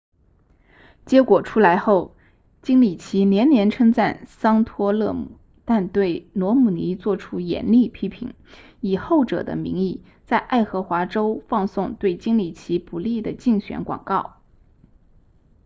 结果出来后金里奇连连称赞桑托勒姆但对罗姆尼做出严厉批评以后者的名义在爱荷华州放送对金里奇不利的竞选广告